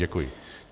Děkuji.